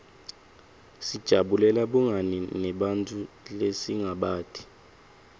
sijabulela bungani nebantfu lesingabati